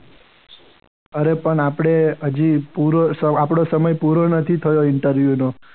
અરે પણ આપણે હજી પૂરો આપણો સમય પૂરો નથી થયો ઇન્ટરવ્યૂ નો.